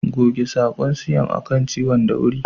Goge sakon siam a kan ciwon da wuri.